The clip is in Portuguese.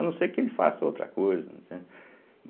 A não ser que ele faça outra coisa, né entende.